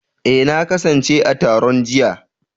Eh, na kasance a taron jiya.